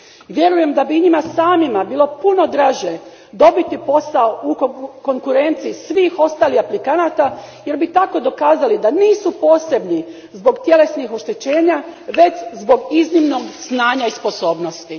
Vjerujem da bi i njima samima bilo puno draže dobiti posao u konkurenciji svih ostalih aplikanata jer bi tako dokazali da nisu posebni zbog tjelesnih oštećenja, već zbog iznimnog znanja i sposobnosti.